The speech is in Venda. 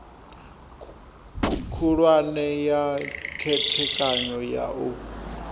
khulwane ya khethekanyo ya u